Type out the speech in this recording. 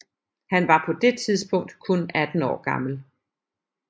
Han var på det tidspunkt kun 18 år gammel